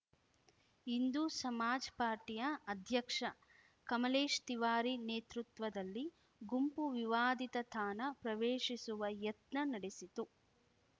ಇಂದೂ ಸಮಾಜ್‌ ಪಾರ್ಟಿಯ ಅಧ್ಯಕ್ಷ ಕಮಲೇಶ್‌ ತಿವಾರಿ ನೇತೃತ್ವದಲ್ಲಿ ಗುಂಪು ವಿವಾದಿತ ತಾಣ ಪ್ರವೇಶಿಸುವ ಯತ್ನ ನಡೆಸಿತು